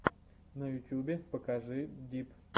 на ютубе покажи дип